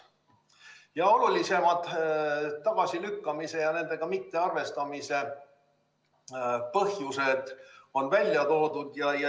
Ja olulisemad tagasilükkamise ja nendega mittearvestamise põhjused on ka välja toodud.